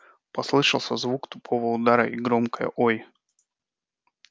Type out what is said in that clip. послышался звук тупого удара и громкое ой